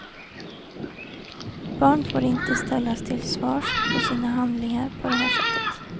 Barn får inte ställas till svars för sina handlingar på det här sättet.